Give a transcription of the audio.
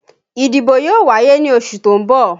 Ìdìbò yóò wáyé ní oṣù tó ń bọ̀